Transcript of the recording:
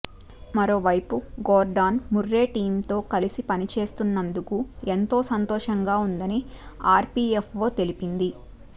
మరోవైపు Gordon Murray టీమ్తో కలిసి పనిచేస్తున్నందుకు ఎంతో సంతోషంగా ఉందని ఆర్పీఎఫ్ఓ తెలిపింది